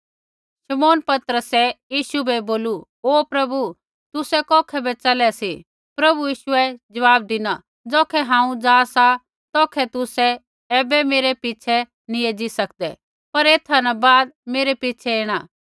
शमौन पतरसै यीशु बै बोलू ओ प्रभु तुसै कौखै बै च़लै सी प्रभु यीशुऐ ज़वाब धिना ज़ौखै हांऊँ जा सा तौखै तुसै ऐबै मेरै पिछ़ै नैंई एज़ी सकदै पर ऐथा न बाद मेरै पिछ़ै ऐणा